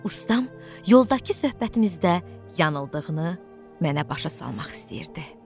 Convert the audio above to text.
Ustam yoldakı söhbətimizdə yanıldığını mənə başa salmaq istəyirdi.